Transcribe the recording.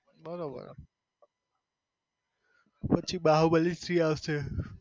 બરોબર પછી બાહુબલી three આવશે.